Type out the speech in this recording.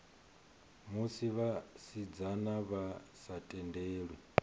musi vhasidzana vha sa tendelwi